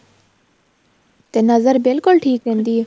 ਤੇ ਨਜ਼ਰ ਬਿਲਕੁਲ ਠੀਕ ਰਹਿੰਦੀ ਏ